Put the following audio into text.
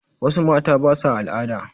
Wassu mata basa al'ada